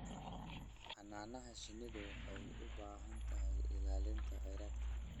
Xannaanada shinnidu waxay u baahan tahay ilaalinta kheyraadka.